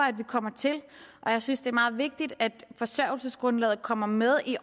at vi kommer til jeg synes det er meget vigtigt at forsørgelsesgrundlaget kommer med i